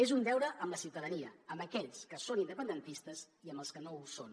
és un deure amb la ciutadania amb aquells que són independentistes i amb els que no ho són